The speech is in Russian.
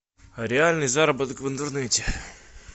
реальный заработок в интернете